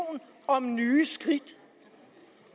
om nye skridt